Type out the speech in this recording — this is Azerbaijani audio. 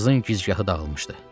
Qızın gicgahı dağılmışdı.